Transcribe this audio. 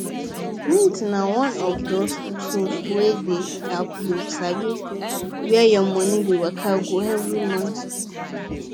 mint na one of those tools wey dey help you sabi where your money dey waka go every month